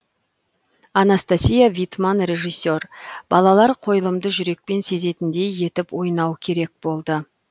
анастасия витман режиссер балалар қойылымды жүрекпен сезетіндей етіп ойнау керек болды